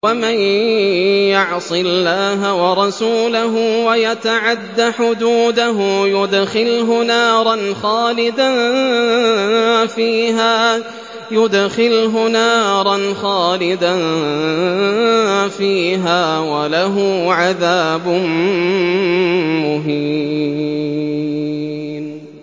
وَمَن يَعْصِ اللَّهَ وَرَسُولَهُ وَيَتَعَدَّ حُدُودَهُ يُدْخِلْهُ نَارًا خَالِدًا فِيهَا وَلَهُ عَذَابٌ مُّهِينٌ